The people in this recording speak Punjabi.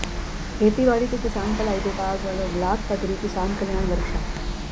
ਖੇਤੀਬਾੜੀ ਤੇ ਕਿਸਾਨ ਭਲਾਈ ਵਿਭਾਗ ਵਲੋਂ ਬਲਾਕ ਪੱਧਰੀ ਕਿਸਾਨ ਕਲਿਆਣ ਵਰਕਸ਼ਾਪ